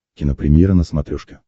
кинопремьера на смотрешке